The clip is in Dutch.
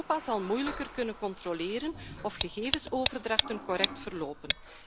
Europa zal moeilijker kunnen controleren of gegevensoverdrachten correct verlopen.